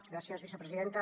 gràcies vicepresidenta